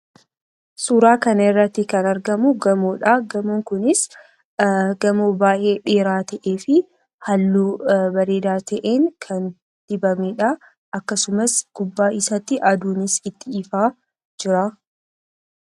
Suuraa kanarratti kan argamu gamoodha. Gamoon kunis gamoo baay'ee dheeraa ta'ee fi halluu bareedaa ta'een kan dibamedha. Akkasumas gubbaa isaatti aduunis itti ifaa jira.